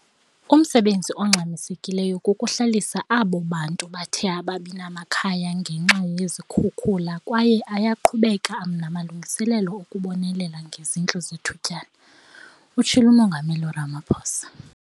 "Umsebenzi ongxamisekileyo kukuhlalisa abo bantu bathe ababinamakhaya ngenxa yezikhukula kwaye ayaqhubeka namalungiselelo okubonelela ngezindlu zethutyana," utshilo uMongameli Ramaphosa.